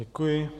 Děkuji.